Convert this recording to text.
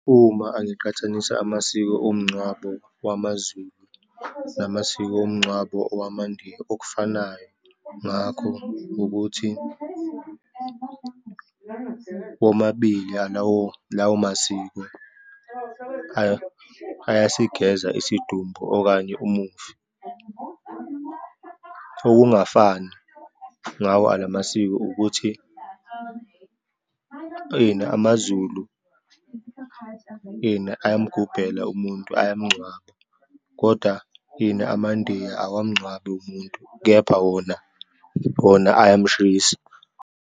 Uma angiqhathanisa amasiko omngcwabo wamaZulu namasiko omngcwabo owamaNdiya, okufanayo ngakho ukuthi womabili alawo, lawo masiko, ayasigeza isidumbu okanye umufi. Okungafani ngawo alamamasiko ukuthi, ini amaZulu ini, ayamgubhela umuntu, ayamngcwaba, kodwa, ini amaNdiya awamngcwabi umuntu, kepha wona, wona ayamshisa.